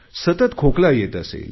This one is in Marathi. सतत खोकला येत असेल